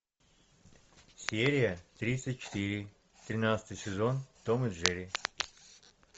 серия тридцать четыре тринадцатый сезон том и джерри